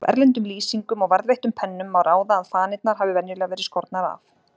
Af erlendum lýsingum og varðveittum pennum má ráða að fanirnar hafi venjulega verið skornar af.